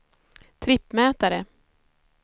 trippmätare